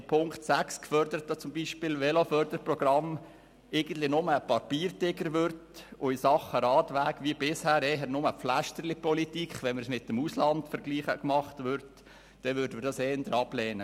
Wenn aber das Veloförderprogramm in Punkt 6 beispielsweise nur ein Papiertiger wird und in Sachen Radweg verglichen mit dem Ausland wie bisher eher nur «Pflästerlipolitik» gemacht wird, dann würden wir das eher ablehnen.